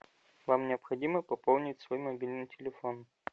вам необходимо пополнить свой мобильный телефон